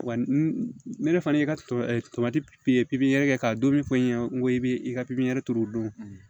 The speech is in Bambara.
Wa ne yɛrɛ fana y'i ka kɛ ka don min fɔ n ye n ko i bɛ i ka pipiniyɛri turu o don